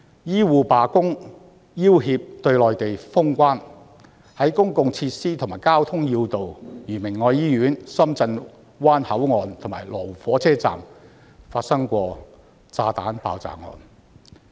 醫護罷工，要脅對內地封關；公共設施和交通要道如明愛醫院、深圳灣口岸和羅湖港鐵站均曾發生炸彈爆炸案。